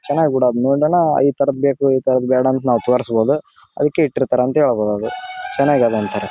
ಚೆನ್ನಾಗಿ ಬಿಡು ಅದನ್ನ ನೋಡಿದನ ಈ ತರದ್ ಬೇಕು ಈ ತರದ್ ಬೇಡ ಅಂತ ನಾವು ತೋರಿಸಬಹುದು ಅದಕ್ಕೆ ಇಟ್ಟಿರ್ತಾರೆ ಅಂತ ಹೇಳ್ಬಹುದು ಅದು ಚೆನ್ನಾಗಿದೆ ಅದ್ ಒಂತರ--